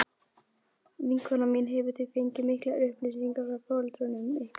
Vinkona mín hefur því fengið miklar upplýsingar frá foreldrum ykkar.